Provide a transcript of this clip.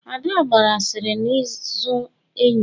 Ada gbara asịrị n'azụ enyi ya